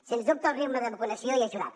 sens dubte el ritme de vacunació hi ha ajudat